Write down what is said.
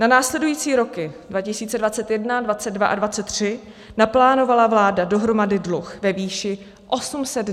Na následující roky 2021, 2022 a 2023 naplánovala vláda dohromady dluh ve výši 826 miliard korun.